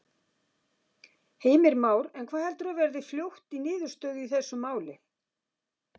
Heimir Már: En hvað heldurðu að verði fljótt í niðurstöðu í þessu máli?